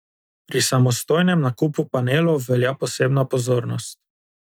Pri samostojnem nakupu panelov velja posebna pozornost.